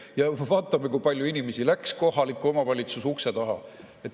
Ja vaatame, kui palju inimesi läks kohaliku omavalitsuse ukse taha.